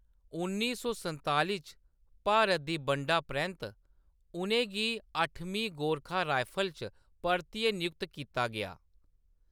उन्नी सौ संताली च भारत दी बंडा परैंत्त, उʼनें गी अठमीं गोरखा राइफल्स च परतियै नियुक्त कीता गेआ।